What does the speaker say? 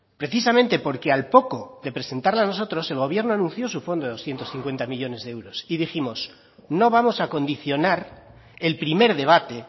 precisamente porque al poco de presentarla nosotros el gobierno anunció su fondo de doscientos cincuenta millónes de euros y dijimos no vamos a condicionar el primer debate